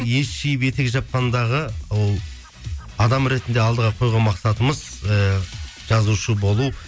ес жиіп етек жапқандағы ол адам ретінде алдыға қойған мақсатымыз ііі жазушы болу